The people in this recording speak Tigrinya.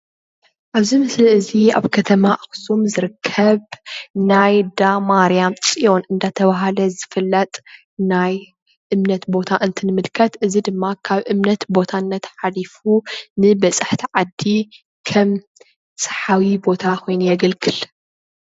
ኣብዚ ምስሊ እዚ ኣብ ከተማ ኣክሱም ዝርከብ ናይ እንዳ ማርያም ፅዮን እንዳተባሃለ ዝፍለጥ ናይ እምነት ቦታ እንትን ምልከት እዚ ድማ ካብ እምነትነት ሓሊፉ ንበፃሕቲ ዓዲ ከም ሳሓቢ ቦታ ኮይኑ የገልግል፡፡